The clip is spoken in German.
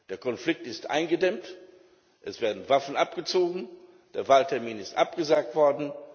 Der Konflikt ist eingedämmt, es werden Waffen abgezogen, der Wahltermin ist abgesagt worden.